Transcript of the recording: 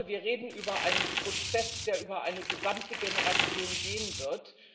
Ich glaube, wir reden über einen Prozess, der über eine gesamte Generation gehen wird.